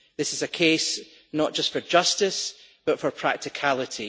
This is a case not just for justice but for practicality.